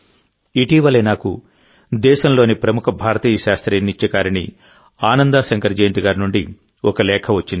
ఇటీవలే నాకు దేశంలోని ప్రముఖ భారతీయ శాస్త్రీయ నృత్యకారిణి ఆనందా శంకర్ జయంత్ గారి నుండి ఒక లేఖ వచ్చింది